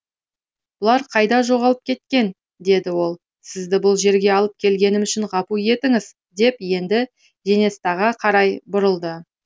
бұлар қайда жоғалып кеткен деді ол сізді бұл жерге алып келгенім үшін ғапу етіңіз деп енді женестаға қарай бұрылды